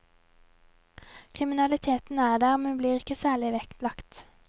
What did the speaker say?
Kriminaliteten er der, men blir ikke særlig vektlagt.